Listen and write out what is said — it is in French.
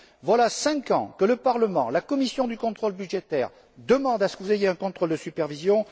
Voilà cinq ans que le Parlement et la commission du contrôle budgétaire demandent à ce que vous ayez un contrôle de supervision.